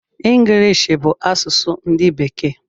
Ngilishi bụ asụsụ ndi bekee